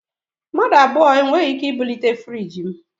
Mmadụ abụọ e nweghị ike ibulite friiji m